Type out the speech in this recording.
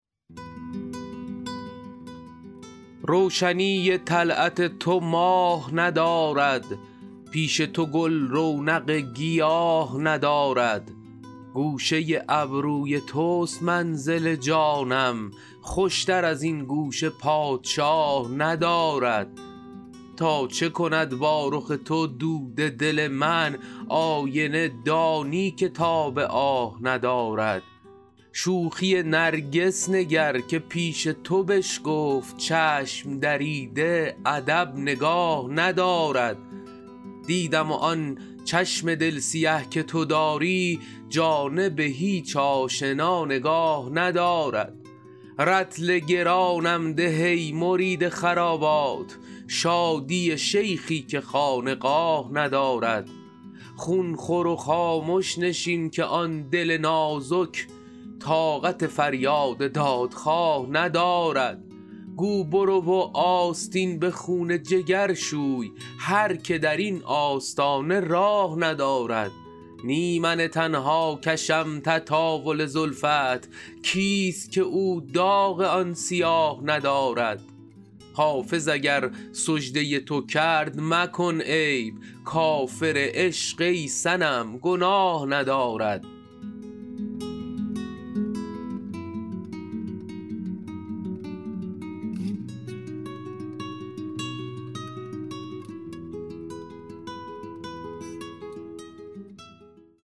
روشنی طلعت تو ماه ندارد پیش تو گل رونق گیاه ندارد گوشه ابروی توست منزل جانم خوشتر از این گوشه پادشاه ندارد تا چه کند با رخ تو دود دل من آینه دانی که تاب آه ندارد شوخی نرگس نگر که پیش تو بشکفت چشم دریده ادب نگاه ندارد دیدم و آن چشم دل سیه که تو داری جانب هیچ آشنا نگاه ندارد رطل گرانم ده ای مرید خرابات شادی شیخی که خانقاه ندارد خون خور و خامش نشین که آن دل نازک طاقت فریاد دادخواه ندارد گو برو و آستین به خون جگر شوی هر که در این آستانه راه ندارد نی من تنها کشم تطاول زلفت کیست که او داغ آن سیاه ندارد حافظ اگر سجده تو کرد مکن عیب کافر عشق ای صنم گناه ندارد